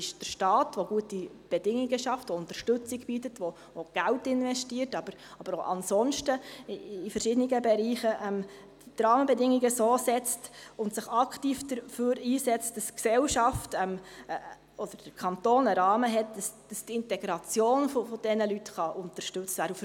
Es ist der Staat, der gute Bedingungen schafft, Unterstützung bietet und Geld investiert, aber auch sonst in verschiedenen Bereichen die Rahmenbedingungen so setzt und sich aktiv dafür einsetzt, dass die Gesellschaft oder der Kanton einen Rahmen hat, damit die Integration dieser Menschen unterstützt werden kann.